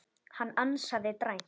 Hann ansaði dræmt.